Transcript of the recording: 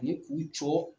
Ani k'u jɔ